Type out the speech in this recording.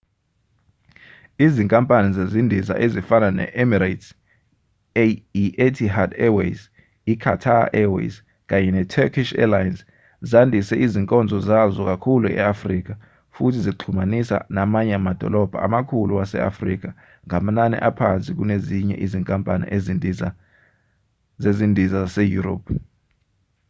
izinkampani zezindiza ezifana ne-emirates i-etihad airways i-qatar airways kanye ne-turkish airlines zandise izinkonzo zazo kakhulu e-afrika futhi zixhumanisa namanye amadolobha amakhulu wase-afrika ngamanani aphansi kunezinye izinkampani zezindiza zaseyurophu